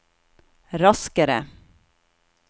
raskere